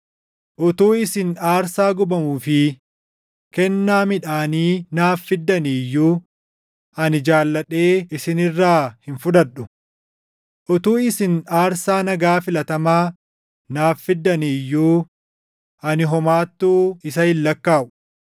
Utuu isin aarsaa gubamuu fi kennaa midhaanii naaf fiddanii iyyuu ani jaalladhee isin irraa hin fudhadhu. Utuu isin aarsaa nagaa filatamaa naaf fiddanii iyyuu ani homaattuu isa hin lakkaaʼu.